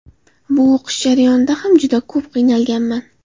Bu o‘qish jarayonida ham juda ko‘p qiynalganman.